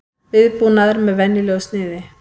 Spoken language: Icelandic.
Viðbúnaður með venjulegu sniði